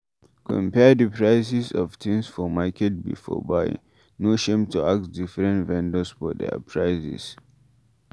Compare di prices of things for market before buying, no shame to ask different vendors for their prices